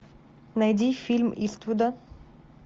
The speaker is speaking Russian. найди фильм иствуда